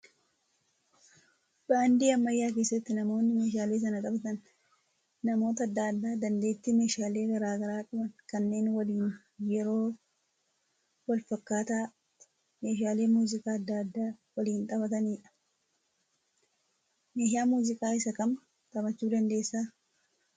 Baandii ammayyaa keessatti namoonni meeshaalee sana taphatan namoota adda addaa dandeettii meeshaalee garaagaraa qaban kanneen waliin yeroo wal fakkaataatti meeshaalee muuziqaa adda addaa waliin taphatanidha. Meeshaa muuziqaa isa kam taphachuu dandeessaa?